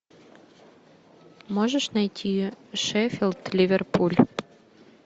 можешь найти шеффилд ливерпуль